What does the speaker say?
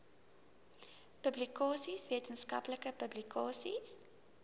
publikasies wetenskaplike publikasies